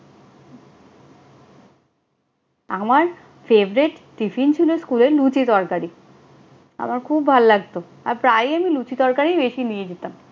আমার favorite tiffin ছিল স্কুলে লুচি-তরকারি। আমার খুব ভাল লাগতো, আর প্রায় আমি লুচি-তরকারিই বেশি নিয়ে যেতাম।